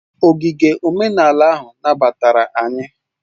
Ogige omenala ahụ nabatara anyị